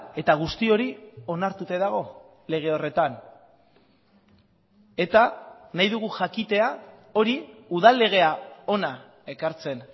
eta guzti hori onartuta dago lege horretan eta nahi dugu jakitea hori udal legea hona ekartzen